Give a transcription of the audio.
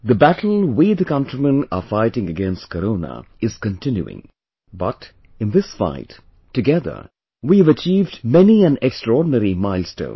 the battle we the countrymen are fighting against corona is continuing...but in this fight, together, we have achieved many an extraordinary milestone